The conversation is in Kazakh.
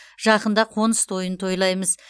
жақында қоныс тойын тойлаймыз